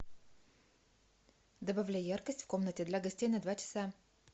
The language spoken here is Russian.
добавляй яркость в комнате для гостей на два часа